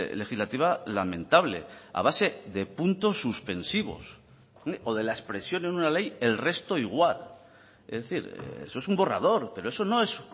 legislativa lamentable a base de puntos suspensivos o de la expresión en una ley el resto igual es decir eso es un borrador pero eso no es